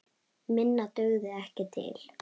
Minna dugði ekki til.